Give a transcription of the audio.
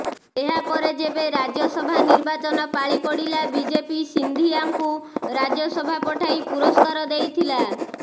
ଏହା ପରେ ଯେବେ ରାଜ୍ୟସଭା ନିର୍ବାଚନ ପାଳି ପଡିଲା ବିଜେପି ସିନ୍ଧିଆଙ୍କୁ ରାଜ୍ୟସଭା ପଠାଇ ପୁରସ୍କାର ଦେଇଥିଲା